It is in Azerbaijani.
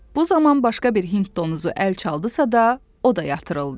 Bu zaman başqa bir hind donuzu əl çaldısa da, o da yatırıldı.